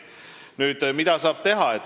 Nüüd, mida saab teha?